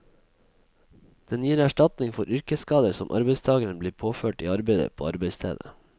Den gir erstatning for yrkesskader som arbeidstageren blir påført i arbeidet på arbeidsstedet.